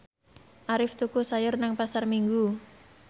Arif tuku sayur nang Pasar Minggu